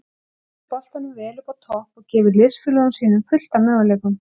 Hann heldur boltanum vel uppi á topp og gefur liðsfélögum sínum fullt af möguleikum.